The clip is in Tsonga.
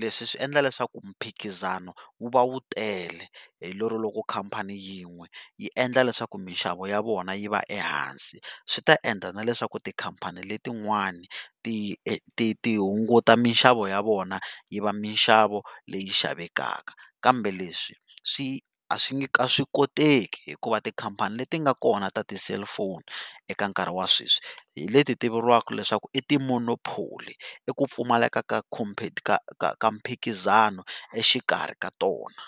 leswi swi endla leswaku mphikizano wu va wu tele hilero loko khampani yin'we yi endla leswaku mixavo ya vona yi va ehansi swi ta endla na leswaku tikhampani letin'wani ti ti hunguta mixavo ya vona yi va mixavo leyi xavekaka, kambe leswi swi a swi koteki hikuva tikhampani leti nga kona ta ti-cellphone eka nkarhi wa sweswi hi leti ti vuriwaka leswaku i ti monopoly i ku pfumaleka ka ka ka ka mphikizano exikarhi ka tona.